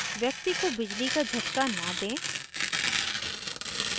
व्यक्ति को बिजली का झटका न do